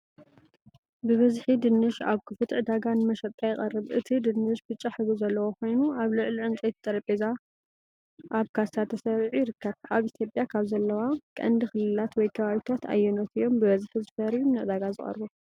ብብዝሒ ድንሽ ኣብ ክፉት ዕዳጋ ንመሸጣ ይቐርብ፡ እቲ ድንሽ ብጫ ሕብሪ ዘለዎ ኮይኑ፡ ኣብ ልዕሊ ዕንጨይቲ ጠረጴዛ ኣብ ካሳ ተሰሪዑ ይርከብ። ኣብ ኢትዮጵያ ካብ ዘለዋ ቀንዲ ክልላት ወይ ከባቢታት ኣየኖት እዮም ብብዝሒ ዝፈርዩን ንዕዳጋ ዝቐርቡን?